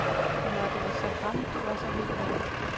Nå, det var så ham, du var så vild med.